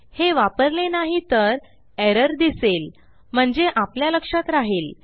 हे वापरले नाही तर एरर दिसेल म्हणजे आपल्या लक्षात राहिल